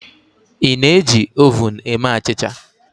ị na-eji oven eme achịcha?